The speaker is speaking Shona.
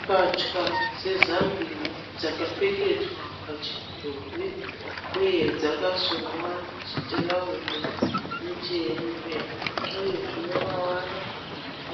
Mbatya dzezambiya dzakapfekedzwa pachidhori uye dzakasonwa chitirauzi nechihembe uyezve mavara